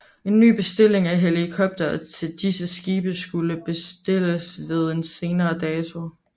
En ny bestilling af helikoptere til disse skibe skulle bestilles ved en senere dato